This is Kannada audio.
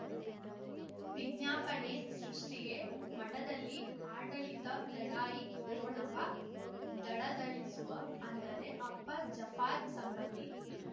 ವಿಜ್ಞಾಪನೆ ಸೃಷ್ಟಿಗೆ ಮಠದಲ್ಲಿ ಆಡಳಿತ ಲಢಾಯಿ ಠೊಣಪ ದಳದಳಿಸುವ ಅಂದರೆ ಅಪ್ಪ ಜಾಫಾರ್ ಸಂಬಂಧಿ